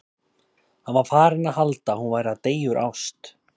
Hann var farinn að halda að hún væri að deyja úr ást!